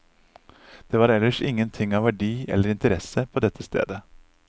Det var ellers ingenting av verdi eller interesse på dette stedet.